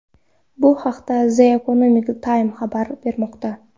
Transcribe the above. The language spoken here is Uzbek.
Bu haqda The Economic Time xabar bermoqda .